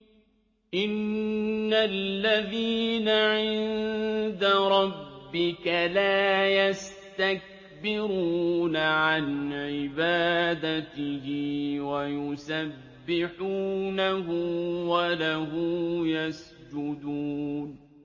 إِنَّ الَّذِينَ عِندَ رَبِّكَ لَا يَسْتَكْبِرُونَ عَنْ عِبَادَتِهِ وَيُسَبِّحُونَهُ وَلَهُ يَسْجُدُونَ ۩